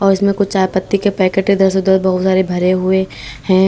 इसमें कुछ चाय पत्ती के पैकेट इधर उधर बहुत सारे भरे हुए हैं।